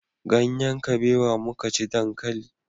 Ganyen kabewa muka ci dankali